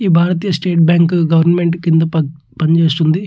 ఈ భారతీయ state bank government కింద ప పనిజేస్తుంది.